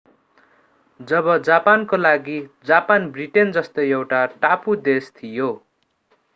अब जापानको लागि जापान ब्रिटेन जस्तै एउटा टापु देश थियो